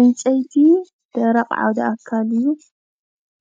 ዕንፀይቲ ደረቅ ዓውደ ኣካል እዩ፡፡